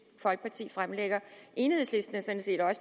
folkeparti fremlægger enhedslisten